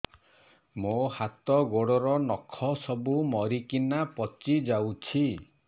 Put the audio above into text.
ମୋ ହାତ ଗୋଡର ନଖ ସବୁ ମରିକିନା ପଚି ଯାଉଛି